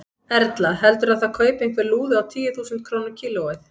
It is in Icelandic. Erla: Heldurðu að það kaupi einhver lúðu á tíu þúsund krónur kílóið?